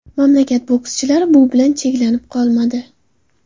Mamlakat bokschilari bu bilan cheklanib qolmadi.